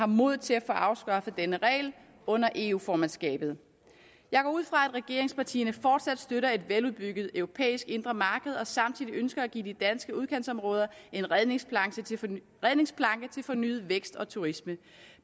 modet til at få afskaffet denne regel under eu formandskabet jeg går ud fra at regeringspartierne fortsat støtter et veludbygget europæisk indre marked og samtidig ønsker at give de danske udkantsområder en redningsplanke til fornyet vækst og turisme